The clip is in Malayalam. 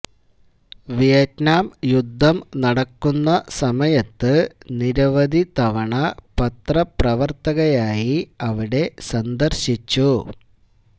വിയറ്റനാം യുദ്ധം നടക്കുന്ന സമയത്ത് നിരവധി തവണ പത്രപ്രവർത്തകയായി അവിടെ സന്ദർശിച്ചു